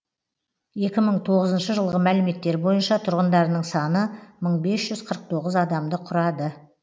екі мың тоғызыншы жылғы мәліметтер бойынша тұрғындарының саны мың бес жүз қырық тоғыз адамды құрады